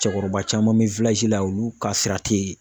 Cɛkɔrɔba caman bɛ la olu ka sira tɛ yen.